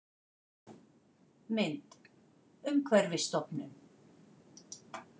Mynd: Umhverfisstofnun